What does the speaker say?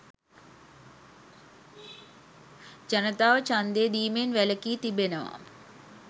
ජනතාව ඡන්දය දීමෙන් වැළකී තිබෙනවා